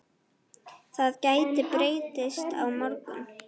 Það gæti breyst á morgun.